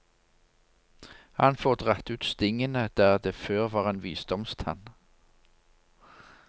Han får dratt ut stingene der det før var en visdomstann.